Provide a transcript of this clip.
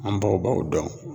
An baw ba o dɔn.